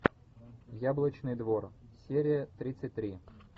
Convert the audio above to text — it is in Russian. яблочный двор серия тридцать три